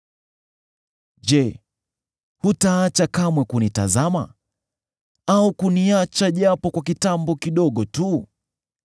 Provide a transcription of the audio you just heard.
Je, hutaacha kamwe kunitazama, au kuniacha japo kwa kitambo kidogo tu?